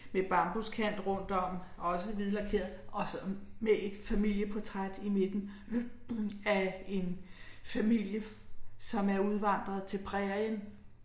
Med bambuskant rundtom også hvidlakeret og sådan med et familieportræt i midten ***nonverbal** af en familie som er udvandret til prærien